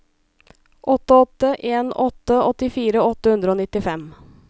åtte åtte en åtte åttifire åtte hundre og nittifem